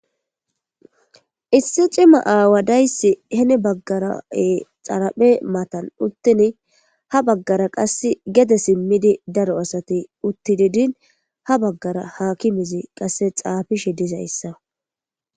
Issi c'ima aaway dizzayssi heeni bagara dharappe mathan uththidi ha bagara qasse daro asay simidi uththidi de'ini ha bagara hakimezzi qassekka xafishe dizzayissa.